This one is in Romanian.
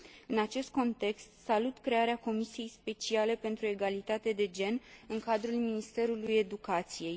În acest context, salut crearea Comisiei speciale pentru egalitate de gen în cadrul Ministerului educației.